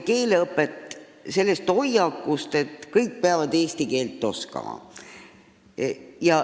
Keeleõpet alustati selle hoiakuga, et kõik peavad eesti keelt oskama.